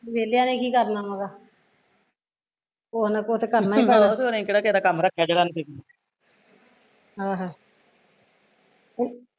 ਵੇਹਲਿਆ ਨੇ ਕੀ ਕਰਨਾ ਵਾਂ ਗਾ ਕੁਸ਼ ਨਾ ਕੁਸ਼ ਤਾਂ ਕਰਨਾ ਈ ਆ ਆਹੋ